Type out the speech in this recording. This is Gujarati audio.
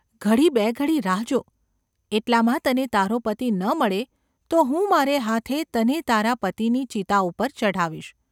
‘ઘડી બેઘડી રાહ જો. એટલામાં તને તારો પતિ ન મળે તો હું મારે હાથે તને તારા પતિની ચિતા ઉપર ચઢાવીશ.